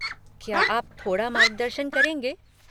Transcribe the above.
क्या आप थोड़ा मार्गदर्शन करेंगे?